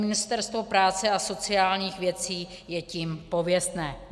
Ministerstvo práce a sociálních věcí je tím pověstné.